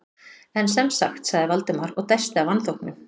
En sem sagt- sagði Valdimar og dæsti af vanþóknun.